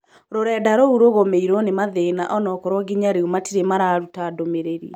Rurenda rũu rũgũmĩirwo nĩ mathĩna onakorwo nginya rĩu matire mararũta ndumĩrĩri